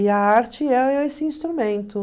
E a arte esse instrumento.